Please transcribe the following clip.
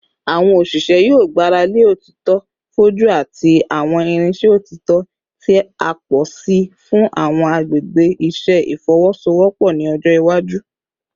Awọn oṣiṣẹ yoo gbarale otito foju ati awọn irinṣẹ otito ti a pọ si fun awọn agbegbe iṣẹ ifowosowopo ni ọjọ iwaju